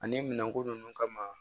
Ani minɛnko ninnu kama